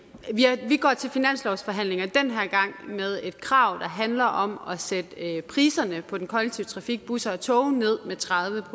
vi går til finanslovsforhandlinger med et krav der handler om at sætte priserne på den kollektive trafik busser og tog ned med tredive